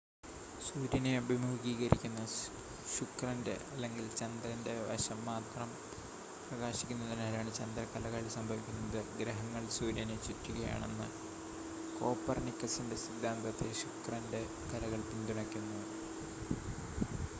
സൂര്യനെ അഭിമുഖീകരിക്കുന്ന ശുക്രന്റെ അല്ലെങ്കിൽ ചന്ദ്രന്റെ വശം മാത്രം പ്രകാശിക്കുന്നതിനാലാണ് ചന്ദ്രക്കലകൾ സംഭവിക്കുന്നത്. ഗ്രഹങ്ങൾ സൂര്യനെ ചുറ്റുകയാണെന്ന കോപ്പർനിക്കസിന്റെ സിദ്ധാന്തത്തെ ശുക്രന്റെ കലകൾ പിന്തുണയ്ക്കുന്നു